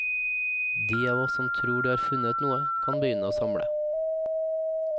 De av oss som tror de har funnet noe, kan begynne å samle.